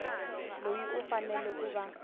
loyi u fanele ku va